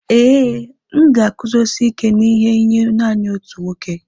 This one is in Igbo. Ee, m ga-eguzosi ike n'ihe nye nanị otu nwoke.